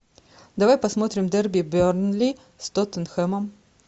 давай посмотрим дерби бернли с тоттенхэмом